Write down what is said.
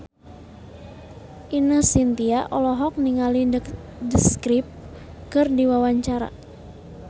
Ine Shintya olohok ningali The Script keur diwawancara